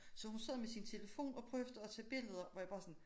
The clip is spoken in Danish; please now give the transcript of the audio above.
Så hun sad med sin telefon og prøvede at tage billeder hvor jeg bare sådan